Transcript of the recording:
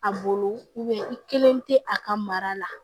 A bolo i kelen tɛ a ka mara la